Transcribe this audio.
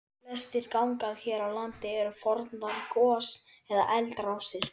Flestir gangar hér á landi eru fornar gos- eða eldrásir.